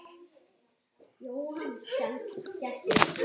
Annað sumarið í röð.